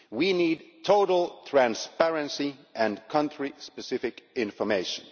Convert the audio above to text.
We need total transparency and country specific information.